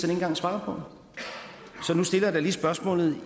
engang svare på så nu stiller jeg da lige spørgsmålet